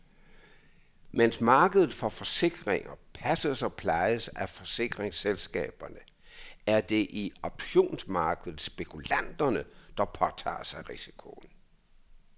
Mens markedet for forsikringer passes og plejes af forsikringsselskaberne, er det i optionsmarkedet spekulanterne, der påtager sig risikoen.